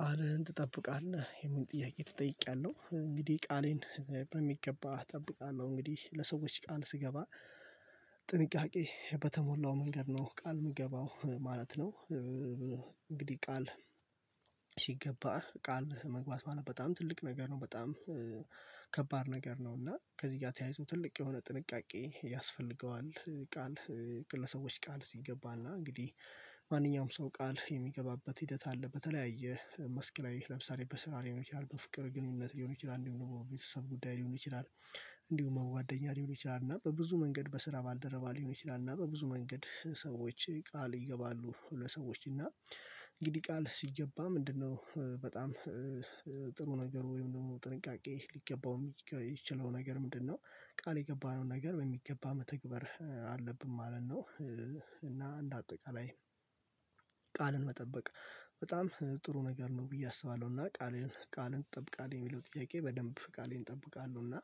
ቃልህን ትጠብቃለህ? የሚል ጥያቄ ትጠይቂያለሁ እንግዲህ ቃሌን በሚገባ እጠብቃለሁ እንግዲህ ለሰዎች ቃል ስገባ በተሞላው መንገድ ነው ቃል የምገባው ማለት ነው እንግዲህ ቃል ሲገባ ቃል መግባት ማለት በጣም ትልቅ ነገር ነው በጣም ከባድ ነገር ነው እና ከዚህ ጋር ተያይዞ ትልቅ የሆነ ጥንቃቄ ያስፈልገዋል ቃል ግለሰቦች ቃል ሲገባና እንግዲህ ማንኛውም ሰው ቃል የሚገባበት ሂደት አለ በተለያየ መስክ ላይ ለምሳሌ በስራ ላይ የሚችል በፍቅር ግንኙነት ሊሆን ይችላል እንዲሁም ቤተሰብ ጉዳይ ሊሆን ይችላል እንዲሁም ጓደኛ ሊሆን ይችላል እና በብዙ መንገድ በስራ ባልደረባ ሊሆን ይችላል እና በብዙ መንገድ ሰዎች ቃል ይገባሉ ለሰዎች እና እንግዲህ ቃል ሲገባ ምንድነው በጣም ጥሩ ነገር ወይም ደግሞ ጥንቃቄ ሊገባው የሚችለው ነገር ምንድነው ቃል የገባነው ነገር ወይ መተግበር አለብን ማለት ነው እና እንደ አጠቃላይ ቃልን መጠበቅ በጣም ጥሩ ነገር ነው ብዬ አስባለሁ እና ቃልህን ቃልን ትጠብቃለህ? የሚለው ጥያቄ በደንብ ቃሌን እጠብቃለሁ እና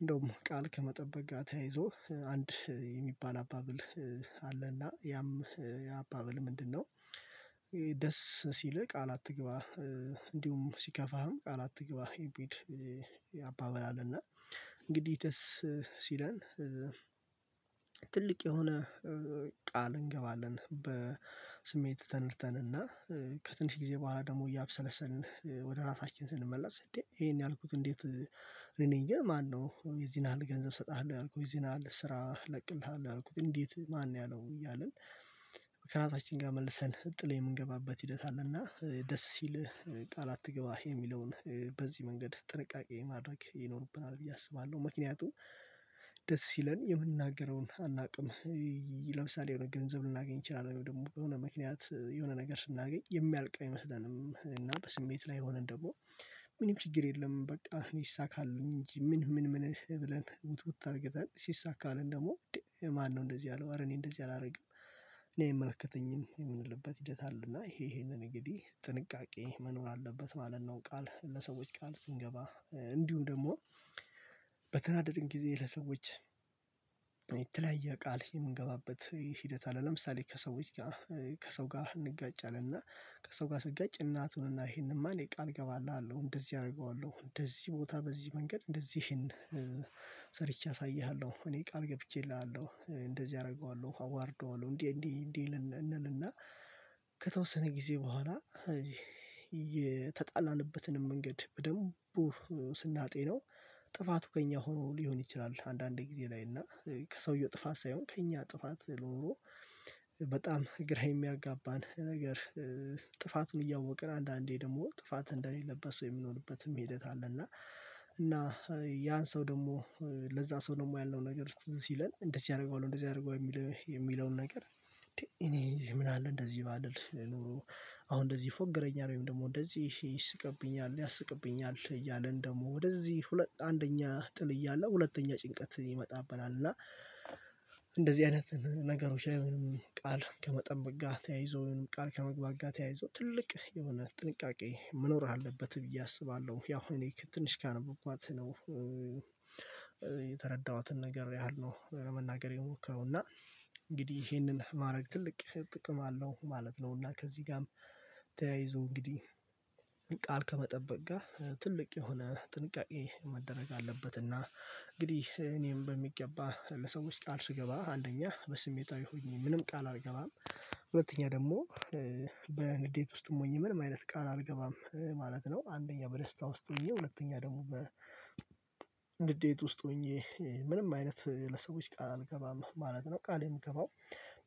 እንደውም ቃል ከመጠበቅ ጋር ተያይዞ አንድ የሚባል አባብል አለና ያም ያ አባብል ምንድነው ደስ ሲልህ ቃል አትግባ እንዲሁም ሲከፋህም ቃል አትግባ የሚል አባብል እና እንግዲህ ደስ ሲለን ትልቅ የሆነ ቃል እንገባለን በስሜት ተነድተንና ከትንሽ ጊዜ በኋላ ደግሞ እያብሰለሰልን ወደ ራሳችን ስንመላስ እንዴ ይሄን ያልኩት እንዴት እኔ ነኝ ግን ማነው የዚህን ያህል ገንዘብ እሰጥሃለሁ ያልኩት ይሄን ያህል ስራ እለቅልሃለሁ ያልኩት እንዴት ማን ያለው እያልን ከራሳችን ጋር መልሰን ጥል የምንገባበት ሂደት አለና ደስ ሲልህ ቃል አትገባህ የሚለውን በዚህ መንገድ ጥንቃቄ ማድረግ ይኖርብናል ብዬ አስባለሁ ምክንያቱም ደስ ሲለን የምንናገረውን አናውቅም ለምሳሌ የሆነ ገንዘብ ልናገኝ እችላለሁ ደግሞ ከሆነ ምክንያት የሆነ ነገር ስናገኝ የሚያልቅ አይመስለንም እና በስሜት ላይ ሆነን ደግሞ ምንም ችግር የለም በቃ እኔ ይሳካልኝ እንጂ ምን ምን ምን ብለን ውት ውት አድርገናል ሲሳካልን ደግሞ ማነው እንደዚህ ያለው አረ እኔ እንደዚህ አላደርግም እኔ አይመለከተኝም የምንልበት ሂደት አለና ይሄ ይሄንን እንግዲህ ጥንቃቄ መኖር አለበት ማለት ነው ቃል ለሰዎች ቃል ስንገባ እንዲሁም ደግሞ በተናደድን ጊዜ ለሰዎች የተለያየ ቃል የምንገባበት ሂደት አለ ለምሳሌ ከሰው ጋር ከሰው ጋር እንጋጫለን እና ከሰው ጋር ስንጋጭ እናቱን እና ይሄንንማ እኔ ቃል እገባልሃለሁ እንደዚህ አደርገዋለሁ እንደዚህ ቦታ በዚህ መንገድ እንደዚህን ሰርቼ አሳይሃለሁ እኔ ቃል ገብቼልሃለሁ እንደዚህ አደርገዋለሁ አዋርደዋለሁ እንዴ እንዴ እንዴ እንልና ከተወሰነ ጊዜ በኋላ የተጣላንበትንም መንገድ በደንቡ ጥፋቱ ከእኛ ሆኖ ሊሆን ይችላል አንዳንዴ ጊዜ ላይ እና ከሰውየው ጥፋት ሳይሆን ከእኛ ጥፋት ኖሮ በጣም ግራ የሚያጋባን ነገር ጥፋቱን እያወቅን አንዳንዴ ደግሞ ጥፋት እንደሌለበት ሰው የሚኖርበትም ሂደት አለ እና እና ያን ሰው ደግሞ ለዛ ሰው ደግሞ ያልነው ነገር ሲለን እንደዚህ ያደርገዋል እንደዚህ አደርገዋለሁ የሚለውን ነገር እኔ ምን አለ እንደዚህ ባልል ኑሮ አሁን እንደዚህ ይፎገረኛል ወይም ደግሞ እንደዚህ ይስቅብኛል ያስቅብኛል እያልን ደግሞ ወደዚህ አንደኛ ጥል እያለ ሁለተኛ ጭንቀት ይመጣብናል እና እንደዚህ አይነት ነገሮች ላይ ቃል ከመጠበቅ ጋር ተያይዞ ቃል ከመግባት ጋር ተያይዞ ትልቅ የሆነ ጥንቃቄ መኖር አለበት ብዬ አስባለሁ ያው እኔ ትንሽ ካነበብኳት ነው የተረዳሁትን ነገር ያህል ነው ለመናገር የሞከረው እና እንግዲህ ይሄንን ማድረግ ትልቅ ጥቅም አለው ማለት ነው እና ከዚህ ጋርም ተያይዞ እንግዲህ ቃል ከመጠበቅ ጋር ትልቅ የሆነ ጥንቃቄ መደረግ አለበትና እንግዲህ እኔም በሚገባ ለሰዎች ቃል ስገባ አንደኛ በስሜታዊ ሆኜ ምንም ቃል አልገባም ሁለተኛ ደግሞ በንዴት ውስጥም ሆኜ ምን ማይነስ ቃል አልገባም ማለት ነው አንደኛ በደስታ ውስጥ ሆኜ ሁለተኛ ደግሞ በግዴታ ውስጥ ሆኜ ምንም አይነት ለሰዎች ቃል አልገባም ማለት ነው ቃሌ የምገባው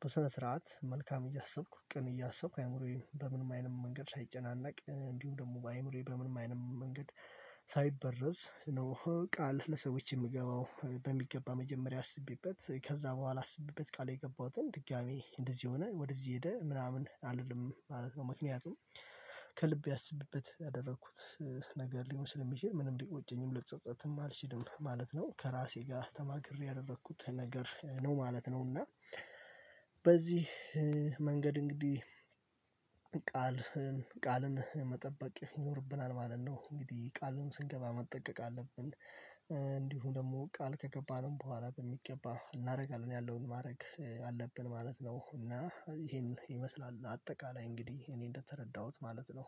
በሰነ ስርዓት መልካም እያሰብኩ ቅን እያሰብኩ በምንም አይነት መንገድ ሳይጨናነቅ እንዲሁ ደግሞ በአይምሮዬ በምንም አይነት መንገድ ሳይበረዝ ነው ቃል ለሰዎች የምገባው በሚገባ መጀመሪያ አስቤበት ከዛ በኋላ አስቤበት ቃል የገባሁትን ድጋሚ እንደዚህ ሆነ ወደዚህ ሄደ ምናምን አልልም ማለት ነው ምክንያቱም ከልብ አስቤበት ያደረኩት ነገር ሊሆን ስለሚችል ምንም ደቂቃ ሊቆጨኝም ልጸጸትም አልችልም ማለት ነው ከራሴ ጋር ተማክሬ ያደረኩት ነገር ነው ማለት ነው እና በዚህ መንገድ እንግዲህ ቃል ቃልን መጠበቅ ይኖርብናል ማለት ነው እንግዲህ ቃሉን ስንገባ መጠቀቅ አለብን እንዲሁ ደግሞ ቃል ከገባንም በኋላ በሚገባ እናደርጋለን ያለውን ማድረግ አለብን ማለት ነው እና ይሄን ይመስላል እንደ አጠቃላይ እንግዲህ እኔ እንደተረዳሁት ማለት ነው